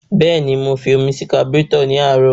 Bẹ́ẹ̀ni, mo fi omi sí kaburétọ̀ ní àárọ̀.